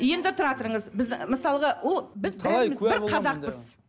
енді тұра тұрыңыз біз мысалғы